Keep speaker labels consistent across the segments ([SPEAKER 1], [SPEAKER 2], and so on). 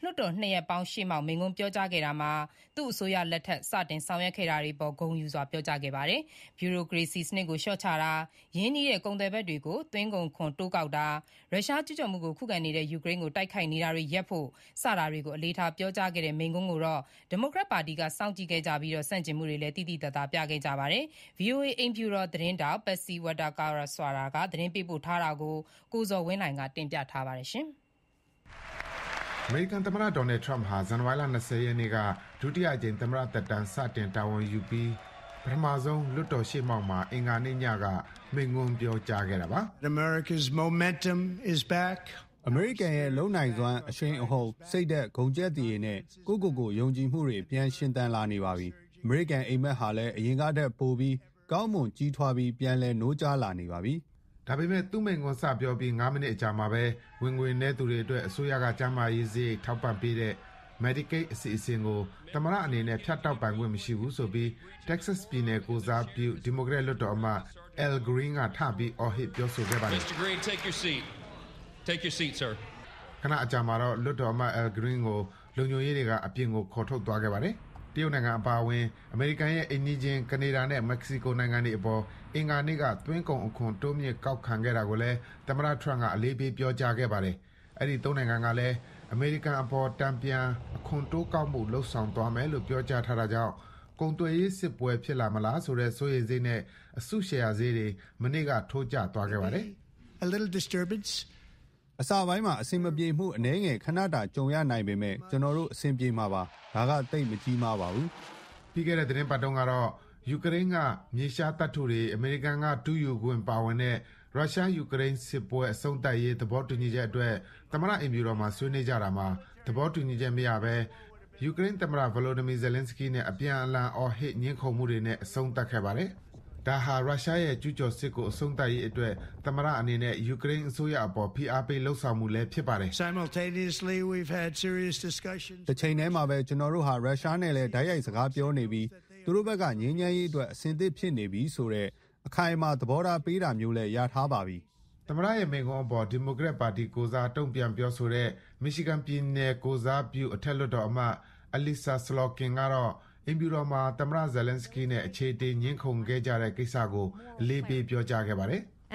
[SPEAKER 1] လွှတ်တော်နှစ်ရပ်ပေါင်းရှေ့မှောက် အင်္ဂါနေ့ညကပြောတဲ့ မိန့်ခွန်းမှာ သူ့အစိုးရလက်ထက် စတင်ဆောင်ရွက်ခဲ့တာတွေအပေါ် ဂုဏ်ယူပြောကြားခဲ့ပါတယ်။ ဗျုရိုကရေစီစနစ်ကိုလျှော့ချတာ၊ ရင်းနှီးတဲ့ကုန်သွယ်ဘက်တွေကို သွင်းကုန်ခွန်တိုးကောက်တာ ရုရှားကျူးကျော်မှုကိုခုခံနေတဲ့ယူကရိန်းကို တိုက်ခိုက်နေတာတွေရပ်ဖို့ စတာတွေကို အလေးထား ပြောကြားတဲ့ မိန့်ခွန်းကိုတော့ ဒီမိုကရက်ပါတီကစောင့်ကြည့်ခဲ့ကြပြီး ဆန့်ကျင်မှုတွေကိုလည်း သိသိသာသာ ပြသခဲ့ကြတာပါ။ ဗွီအိုအေ အိမ်ဖြူတော်သတင်းထောက် Patsy Widakuswara သတင်းပေးပို့ထားတာကို ကိုဇော်ဝင်းလှိုင် တင်ပြထားပါတယ်။
[SPEAKER 2] အမေရိကန်သမ္မတ Donald Trump ဟာ ဇန်နဝါရီလ ရက်နေ့ ဒုတိယအကြိမ် သမ္မတသက်တမ်း စတင်တာဝန်ယူပြီး ပထမဆုံး လွှတ်တော်ရှေ့မှောက် အင်္ဂါနေ့ညက မိန့်ခွန်းပြောခဲ့တာပါ။
[SPEAKER 3] "အမေရိကရဲ့ အရှိန်အဟုန်တွေ ပြန်အားကောင်းလာပါပြီ။ ကျနော်တို့ရဲ့ စိတ်ဓာတ်တွေ၊ ဂုဏ်ရှိန်တွေ၊ ယုံကြည်အားထားမှုတွေလည်း ပြန်တက်လာပါပြီ။ အမေရိကန်အိပ်မက်တွေလည်း ကြီးထွားလာနေပြီး အားကောင်းသထက် အားကောင်းလာနေပါပြီ။" ဒါပေမယ့်
[SPEAKER 2] သူ မိန့်ခွန်းစပြောပြီး ငါးမိနစ်အကြာမှာပဲ ဝင်ငွေနည်းသူတွေအတွက် အစိုးရက ကျန်းမာရေး စရိတ် ထောက်ပံ့ပေးတဲ့ Medicaid အစီအစဉ်ကို သမ္မတအနေနဲ့ ဖြတ်တောက်ပိုင်ခွင့်မရှိဘူးဆိုပြီး Texas ပြည်နယ်ကိုယ်စားပြု ဒီမိုကရက်လွှတ်တော်အမတ် Al Green က ထပြီး အော်ဟစ် ပြောဆိုခဲ့ ပါတယ်
[SPEAKER 1] ။
[SPEAKER 2] ခဏအကြာမှာတော့ လွှတ်တော်အမတ် Al Green ကို လုံခြုံရေးတွေက အပြင်ကို ခေါ်ထုတ်သွားခဲ့ပါတယ်။ တရုတ်နိုင်ငံအပါအဝင် အမေရိကန်ရဲ့ အိမ်နီးချင်း ကနေဒါနဲ့မက္ကဆီကိုနိုင်ငံတွေအပေါ် အင်္ဂါနေ့က သွင်းကုန်အခွန် တိုးမြှင့်ကောက်ခံခဲ့တာကိုလည်း သမ္မတ Trump က အလေးပေး ပြောကြားခဲ့ပါတယ်။ အဲဒီသုံးနိုင်ငံကလည်း အမေရိကန်အပေါ် တန်ပြန် အခွန်တိုးကောက်မှုလုပ်ဆောင်သွားမယ်လို့ ပြော ထားတာကြောင့် ကုန်သွယ်ရေးစစ်ပွဲဖြစ်လာမလားဆိုတဲ့ စိုးရိမ်စိတ်နဲ့ အစုရှယ်ယာဈေးတွေ မနေ့က ထိုးကျသွားခဲ့ပါတယ်။
[SPEAKER 3] "အနှောင့်အယှက်ဖြစ်စရာ အနည်းအကျဉ်းလောက်ပဲ ရှိမှာပါ၊ ဒါပေမဲ့ အဆင်ပြေသွားမှာပါ။ သိပ်ထိခိုက်စရာ မရှိပါဘူး။" ပြီးခဲ့တဲ့ သီတင်းပတ်တုန်းကတော့
[SPEAKER 2] ယူကရိန်းက မြေရှားသတ္တုတွေ အမေရိကန်က တူးယူခွင့်ပါဝင်တဲ့ ရုရှား-ယူကရိန်းစစ်ပွဲအဆုံးသတ်ရေး သဘောတူညီချက်အတွက် သမ္မတအိမ်ဖြူတော်မှာ ဆွေးနွေး ကြတာမှာ သဘောတူညီချက်မရဘဲ ယူကရိန်းသမ္မတ Volodymyr Zelenskyy နဲ့ အပြန်အလှန် အော်ဟစ် ငြင်းခုန်မှုတွေနဲ့ အဆုံးသတ်ခဲ့ပါတယ်။ ဒါဟာ ရုရှားရဲ့ကျူးကျော်စစ်ကို အဆုံးသတ်ရေးအတွက် သမ္မတ Trump ရဲ့ ယူကရိန်းအစိုးရအပေါ် ဖိအားပေးလုပ်ဆောင်မှုလည်း ဖြစ်ပါတယ်။ "
[SPEAKER 3] တပြိုင်တည်းမှာပဲ ရုရှားနဲ့လည်း အလေးအနက် ဆွေးနွေးနေပြီး ငြိမ်းချမ်းရေးအတွက် သူတို့ဘက်က အသင့်ရှိကြောင်း အခိုင်အမာ သတင်းစကားပါးတာလည်း ရှိပါတယ်။
[SPEAKER 2] " သမ္မတ Trump ရဲ့ မိန့်ခွန်းအပေါ် ဒီမိုကရက်ပါတီကိုယ်စား တုံ့ပြန်ပြောဆိုတဲ့ Michigan ပြည်နယ် ကိုယ်စားပြု အထက်လွှတ်တော်အမတ် Alissa Slotkin ကတော့ အိမ်ဖြူတော်မှာ သမ္မတ Zelenskyy နဲ့ အခြေအတင် ငြင်းခုန်ခဲ့ကြတဲ့ကိစ္စကို အလေးပေး ပြောကြားခဲ့ပါတယ်။
[SPEAKER 1] "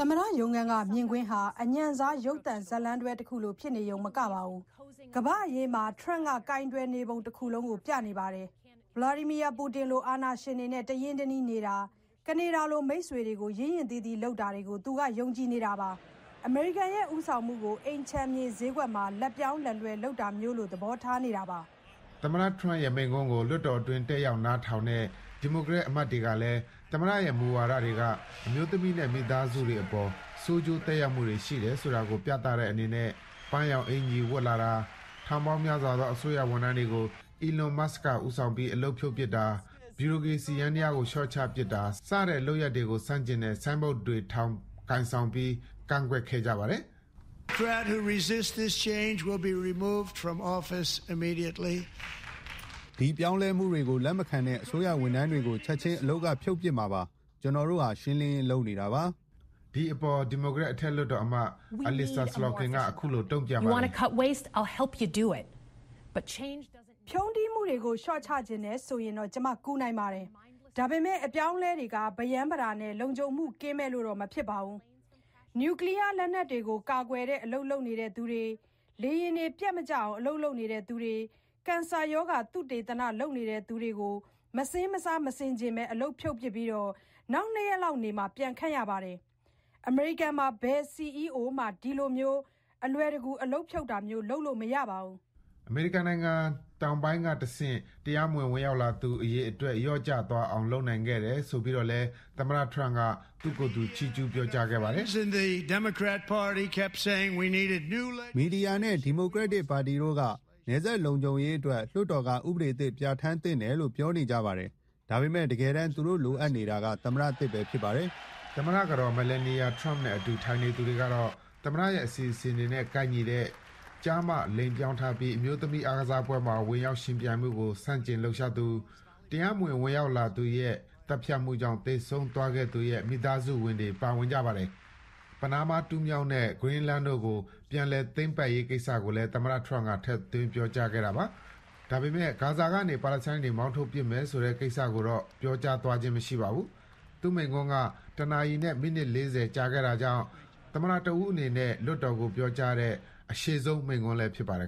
[SPEAKER 1] သမ္မတရုံးခန်းကမြင်ကွင်းဟာ အညံ့စားရုပ်သံဇာတ်လမ်းတွဲတခုလို ဖြစ်နေရုံမကပါဘူး၊ ကမ္ဘာ့အရေး မှာ ထရမ့်က ကိုင်တွယ်နေပုံတခုလုံးကို ပြနေပါတယ်။ Vladimir Putin လိုအာဏာရှင်တွေနဲ့ တရင်း တနှီးနေတာ၊ ကနေဒါလို မိတ်ဆွေတွေကို ရင့်ရင့်သီးသီးလုပ်တာတွေကို သူက ယုံကြည်နေတာပါ။ အမေရိကန်ရဲ့ ဦးဆောင်မှုကို အိမ်ခြံမြေဈေးကွက်မှာ လက်ပြောင်းလက်လွှဲလုပ်တာမျိုးလို သဘောထားနေတာပါ။
[SPEAKER 2] " သမ္မတ Trump ရဲ့ မိန့်ခွန်းကို လွှတ်တော်အတွင်း တက်ရောက်နားထောင်တဲ့ ဒီမိုကရက်အမတ်တွေ ကလည်း သမ္မတရဲ့ မူဝါဒတွေက အမျိုးသမီးနဲ့ မိသားစုတွေပေါ် ဆိုးကျိုးသက်ရောက်မှုတွေရှိတယ် ဆိုတာကို ပြသတဲ့အနေနဲ့ ပန်းရောင်အင်္ကျီဝတ်လာတာ၊ ထောင်ပေါင်းများစွာသော အစိုးရဝန်ထမ်းတွေ ကို Elon Musk ကဦးဆောင်ပြီး အလုပ်ဖြုတ်ပစ်တာ၊ ဗြူရိုကရေစီယန္တရားကို လျှေ့ာချပစ်တာ- စတဲ့လုပ်ရပ်ကို ဆန့်ကျင်တဲ့ ဆိုင်းဘုတ်တွေထောင်ပြီး ကိုင်ဆောင် ကန့်ကွက်ခဲ့ကြပါတယ်။
[SPEAKER 3] "စိန်ခေါ်ချက်တွေကို လက်မခံတဲ့ ဖယ်ဒရယ်အစိုးရထဲက ဗျူရိုကရက်တွေကို ချက်ခြင်းဖယ်ရှားမှာပါ။ ရေဆိုးရေညစ်တွေကို ဖောက်ချနေတာပါ။" ဒီအပေါ် ဒီမိုကရက်အထက်လွှတ်တော်အမတ်
[SPEAKER 2] Alissa Slotkin က အခုလို တုံ့ပြန်ပါတယ်။
[SPEAKER 1] "ဖြုန်းတီးမှုတွေကို လျှော့ချချင်တယ်ဆိုရင်တော့ ကျမကူနိုင်ပါတယ်။ ဒါပေမဲ့ အပြောင်းအလဲတွေက ဗရမ်းဗတာနဲ့ လုံခြုံမှုကင်းမဲ့လို့တော့ မဖြစ်ပါဘူး။ နျူကလီးယားလက်နက်တွေကို ကာကွယ်တဲ့ အလုပ်လုပ်နေသူတွေ၊ လေယာဉ်တွေပျက်မကျအောင် အလုပ်လုပ်နေသူတွေ၊ ကင်ဆာရောဂါ သုတေသနလုပ်နေသူတွေကို မစဉ်းစားမဆင်ခြင်အလုပ်ဖြုတ်ပစ်ပြီး နောက် နှစ်ရက်လောက်နေမှ ပြန်ခန့်ရပါတယ်။ အမေရိကန်မှာ ဘယ် CEO မှ အခုလို အလွယ်တကူအလုပ်ဖြုတ်တာမျိုး လုပ်လို့မရပါဘူး။
[SPEAKER 2] " အမေရိကန်နိုင်ငံတောင်ပိုင်းကတဆင့် တရားမဝင် ဝင်ရောက်လာသူအရေအတွက် လျော့ကျသွား အောင် လုပ်နိုင်ခဲ့တယ်ဆိုပြီးတော့လည်း သမ္မတ Trump u သူ့ကိုယ်သူ ချီးကျူး ပြောကြားခဲ့ပါ
[SPEAKER 3] တယ်။ "နယ်စပ်တွေလုံခြုံရေး ဥပဒေသစ်လိုတယ်ဆိုပြီး မီဒီယာတွေနဲ့ ဒီမိုကရက်တစ်ပါတီက လူတွေ တလျှောက်လုံး ပြောကြပါတယ်။ ဒါပေမဲ့ တကယ်လိုနေတာက သမ္မတသစ်ဆိုတာ တွေ့လာရပါတယ်။" သမ္မတကတော် Melania Trump နဲ့အတူ ထိုင်နေသူတွေကတော့ သမ္မတ
[SPEAKER 2] ရဲ့ အစီအစဉ်တွေနဲ့ ကိုက်ညီတဲ့ ကျား/မ လိင်ပြောင်းထားပြီး အမျိုးသမီးအားကစားပွဲမှာ ဝင်ရောက်ယှဉ်ပြိုင်မှုကို ဆန့်ကျင်လှုပ်ရှားသူ၊ တရားမဝင်,ဝင်ရောက်လာသူရဲ့ သတ်ဖြတ်မှုကြောင့် သေဆုံးသွားခဲ့သူရဲ့ မိသားစုဝင်တွေ ပါဝင်ကြပါတယ်။ ပနားမားတူးမြောင်းနဲ့ Greenland တို့ကို ပြန်လည်သိမ်းပိုက်ရေးကိစ္စကိုလည်း သမ္မတ Trump က ထည့်သွင်း ပြောကြားခဲ့ပါတယ်။ ဒါပေမယ့် ဂါဇာကနေ ပါလက်စတိုင်းတွေ မောင်းထုတ်ပစ်မယ်ဆိုတဲ့ ကိစ္စတော့ ပြောသွားခြင်း မရှိပါဘူး။ သူ့မိန့်ခွန်းက တနာရီနဲ့ မိနစ်လေးဆယ်ကြာတာကြောင့် သမ္မတတဦးအနေနဲ့ လွှတ်တော်ကိုပြောကြားတဲ့ အရှည်ဆုံးမိန့်ခွန်းလည်း ဖြစ်ပါတယ်